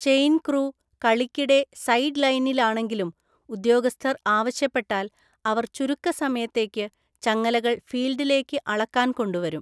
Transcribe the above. Chain crew കളിക്കിടെ സൈഡ്‌ലൈനിലാണെങ്കിലും ഉദ്യോഗസ്ഥർ ആവശ്യപ്പെട്ടാൽ അവർ ചുരുക്ക സമയത്തേക്ക് ചങ്ങലകൾ ഫീൽഡിലേക്ക് അളക്കാൻ കൊണ്ടുവരും.